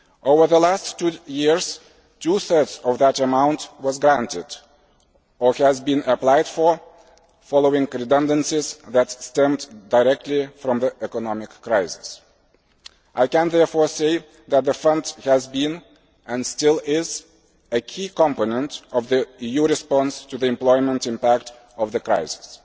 Over the last two years two thirds of that amount was granted, or has been applied for, following redundancies that stemmed directly from the economic crisis. I can therefore say that the Fund has been, and still is, a key component of the EU response to the employment impact of the crisis.